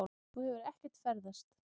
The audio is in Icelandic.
Þú hefur ekkert ferðast.